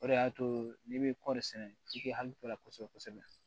O de y'a to n'i bɛ kɔɔri sɛnɛ i k'i hakili to a la kosɛbɛ kosɛbɛ